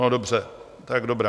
No dobře, tak dobrá.